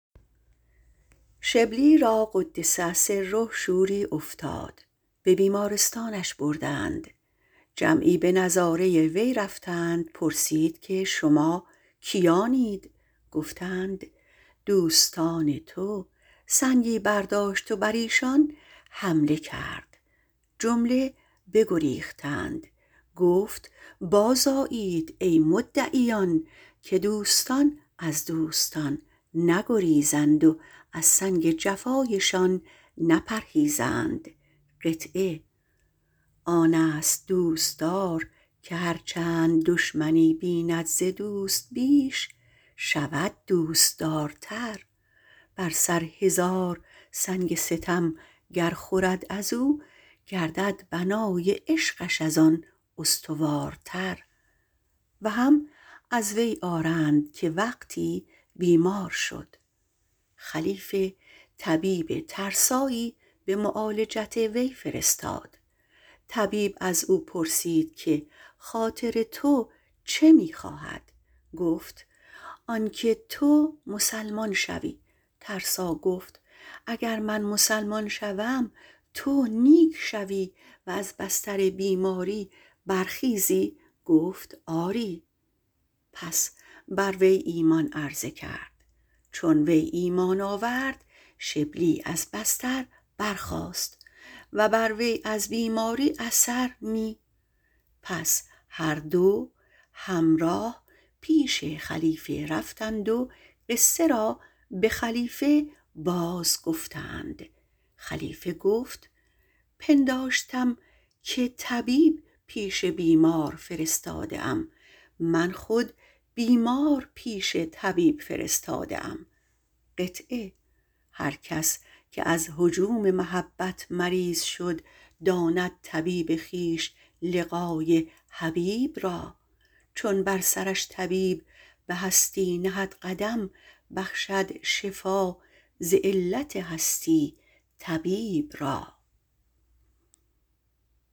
شبلی را - قدس الله تعالی سره - شوری افتاد به بیمارستان بردند جمعی به نظاره وی رفتند پرسید که شما کیانید گفتند دوستان تو سنگ برداشت و بر ایشان حمله کرد جمله بگریختند بخندید گفت بازآیید ای مدعیان که دوستان از دوستان نگریزند و از سنگ جفایشان نپرهیزند آن است دوستدار که هر چند دشمنی بیند ز دوست بیش شود دوستدارتر بر سر هزار سنگ ستم گر خورد ازو گردد بنای عشقش ازان استوارتر و هم از وی آرند که وقتی بیمار شد خلیفه طبیب ترسا به معالجت وی فرستاد از وی پرسید که خاطر تو چه می خواهد گفت آنکه تو مسلمان شوی گفت اگر من مسلمان شوم تو نیک می شوی و از بستر بیماری برمی خیزی گفت آری پس ایمان بر وی عرضه کرد و وی ایمان آورد و شبلی از بستر برخاست و بر وی از بیماری اثری نه پس هر دو همراه پیش خلیفه رفتند و قصه را باز گفتند خلیفه گفت پنداشتم که طبیب پیش بیمار فرستاده ام من خود بیمار پیش طبیب فرستاده بوده ام هر کس که از هجوم محبت مریض شد داند طبیب خویش لقای حبیب را چون بر سرش طبیب بهشتی نهد قدم بخشد شفا ز علت هستی طبیب را